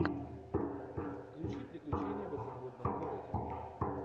включи приключения в изумрудном городе